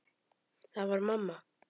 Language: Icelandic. Það var mamma.